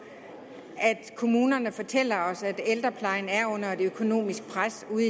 at kommunerne fortæller os at ældreplejen er under økonomisk pres